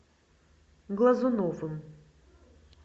глазуновым